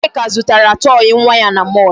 Nneka zụtara toy nwa ya na mall.